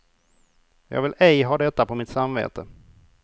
Jag vill ej ha detta på mitt samvete.